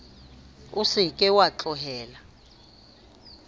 o se ke wa tlohela